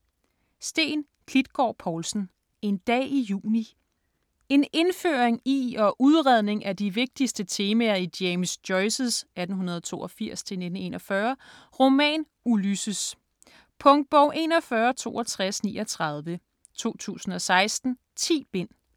Klitgård Povlsen, Steen: En dag i juni En indføring i og udredning af de vigtigste temaer i James Joyces (1882-1941) roman Ulysses. Punktbog 416239 2016. 10 bind.